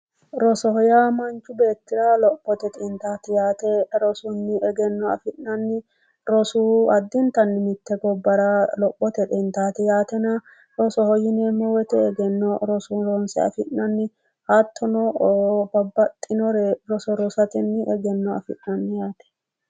Rosoho yaa manchu beettira lophote xintaati yaate rosunni egenno afi'nanni rosu addintanni mitte gobbara lophote xintaati yaatena, rosoho yineemmo woyite egenno roso ronse afi'nanni hattono babbaxinore roso rosatenni egenno afi'nanni yaate.